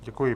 Děkuji.